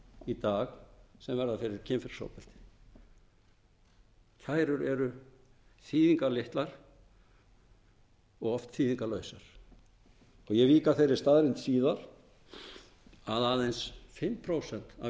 í dag sem verða fyrir kynferðisofbeldi þær eru þýðingarlitlar og oft þýðingarlausar ég vík að þeirri staðreynd síðar að aðeins fimm prósent af